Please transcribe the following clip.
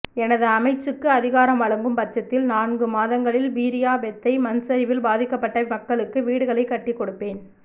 எனது அமைச்சுக்கு அதிகாரம் வழங்கும் பட்சத்தில் நான்கு மாதங்களில் மீரியாபெத்தை மண்சரிவில் பாதிக்கப்பட்ட மக்களுக்கு வீடுகளை கட்டிக்கொடுப்பேன்